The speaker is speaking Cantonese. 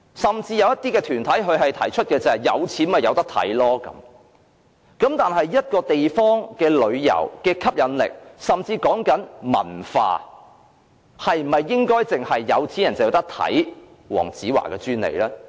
甚至有些團體提出，有錢的便可以看，但一個地方的旅遊吸引力，說的甚至是文化，是否應該只有有錢人才可享有觀看黃子華的專利呢？